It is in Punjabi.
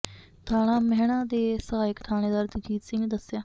ਥਾਣਾ ਮਹਿਣਾ ਦੇ ਸਹਾਇਕ ਥਾਣੇਦਾਰ ਜਗਜੀਤ ਸਿੰਘ ਨੇ ਦੱਸਿਆ